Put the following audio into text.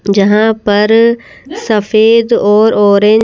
जहां पर सफेद और ऑरेंज --